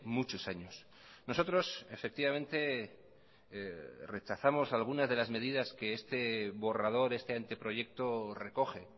muchos años nosotros efectivamente rechazamos algunas de las medidas que este borrador este anteproyecto recoge